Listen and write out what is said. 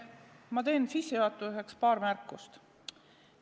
Ma teen sissejuhatuseks paar märkust.